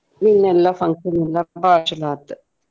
ಹ್ಮ್ ಎಲ್ಲಾ function ಎಲ್ಲಾ ಬಾಳ ಚೊಲೋ ಆತ್.